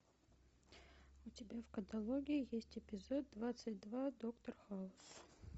у тебя в каталоге есть эпизод двадцать два доктор хаус